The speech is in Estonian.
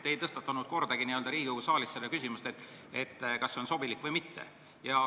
Te ei tõstatanud kordagi Riigikogu saalis küsimust, kas see on sobilik või mitte.